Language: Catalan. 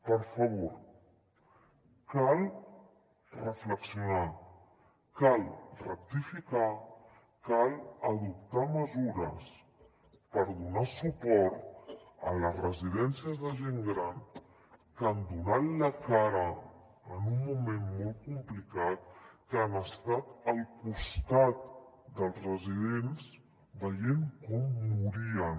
per favor val reflexionar cal rectificar cal adoptar mesures per donar suport a les residències de gent gran que han donat la cara en un moment molt complicat que han estat al costat dels residents veient com morien